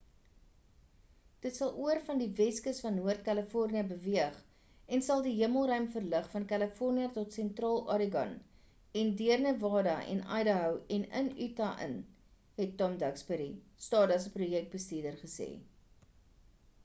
dit sal oor van die weskus van noord-kalifornië beweeg en sal die hemelruim verlig van kalifornië tot sentraal oregon en deur nevada en idaho en in utah in het tom duxbury stardust se projekbestuurder gesê